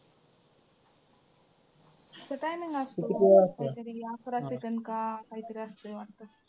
ते timing असतं अकरा second का काहीतरी असतंय वाटतं.